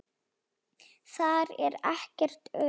Þar er ekkert ör.